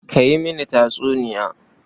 Ka yi mini tatsuniya.